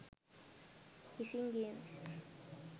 kissing games